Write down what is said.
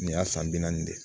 Nin y'a san bi naani de ye